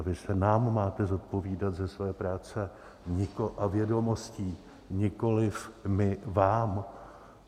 A vy se nám máte zodpovídat ze své práce a vědomostí, nikoliv my vám.